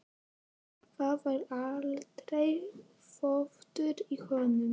Það var aldrei þvottur í honum.